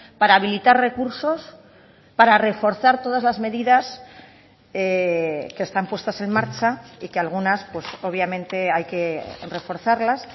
para habilitar recursos para reforzar todas las medidas que están puestas en marcha y que algunas pues obviamente hay que reforzarlas